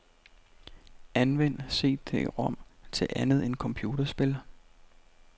Anvend cd-rom til andet end computerspil.